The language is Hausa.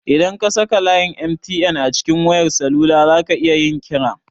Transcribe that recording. Idan ka saka layin 'MTN' a cikin wayar salula zaka iya yin kira.